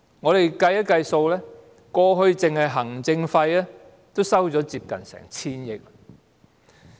我們計算一下，過去行政費已收取接近 1,000 億元。